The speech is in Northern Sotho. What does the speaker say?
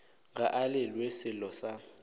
ga a llelwe sello sa